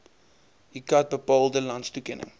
iccat bepaalde landstoekenning